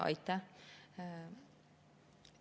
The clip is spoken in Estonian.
Aitäh!